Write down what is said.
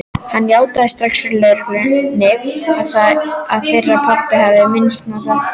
Hann játaði strax fyrir lögreglunni að þeir pabbi hefðu misnotað